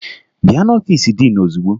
Bịa n'ọfiisi diin ozugbo!